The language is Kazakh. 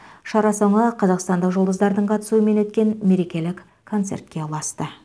шара соңы қазақстандық жұлдыздардың қатысуымен өткен мерекелік концертке ұласты